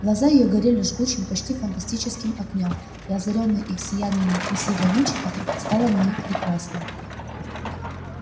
глаза её горели жгучим почти фантастическим огнём и озарённое их сиянием некрасивое личико стало на миг прекрасным